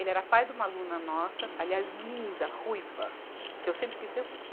Ele era pai de uma aluna nossa, aliás, linda, ruiva, que eu sempre quis ser ruiva.